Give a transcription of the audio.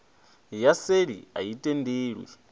ya seli a i tendelwi